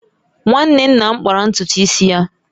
Nwanne nna m kpara ntutu isi ya